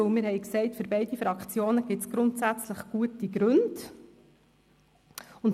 Denn wir haben gesagt, dass für beide Fraktionen grundsätzlich gute Gründe sprechen.